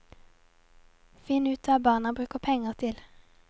Finn ut hva barna bruker penger til.